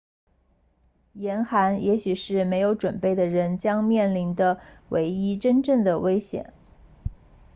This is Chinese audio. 严寒也许是没有准备的人将面临的唯一真正的危险